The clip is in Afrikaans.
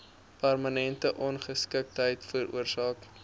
permanente ongeskiktheid veroorsaak